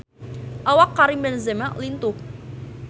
Awak Karim Benzema lintuh